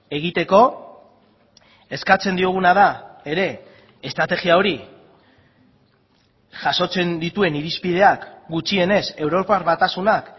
egiteko eskatzen dioguna da ere estrategia hori jasotzen dituen irizpideak gutxienez europar batasunak